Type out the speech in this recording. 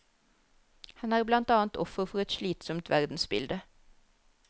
Han er blant annet offer for et slitsomt verdensbilde.